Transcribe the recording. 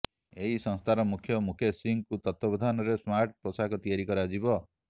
ଏହି ସଂସ୍ଥାର ମୁଖ୍ୟ ମୁକେଶ ସିଂହଙ୍କୁ ତତ୍ତ୍ବାବଧାନରେ ସ୍ମାର୍ଟ ପୋଷାକ ତିଆରି କରାଯିବ